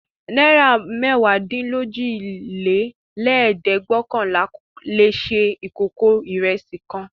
Náírà mẹ́wàádínlójìlélẹ́ẹ̀dẹ́gbẹ́ọ̀kànlà le se ìkókó ìrẹsì kan.